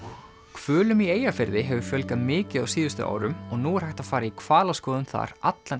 hvölum í Eyjafirði hefur fjölgað mikið á síðustu árum og nú er hægt að fara í hvalaskoðun þar allan